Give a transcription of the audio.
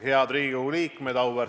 Head Riigikogu liikmed!